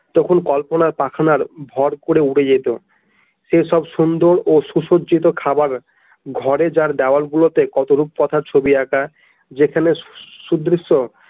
তখন কল্পনার পাখনার ভর করে উড়ে যেত সে সব সুন্দর ও সুসজিত খাবার ঘরে তার দেয়ালগুলোতে কত রূপকথা ছবি আঁকা যেখানে সুদৃশ্য।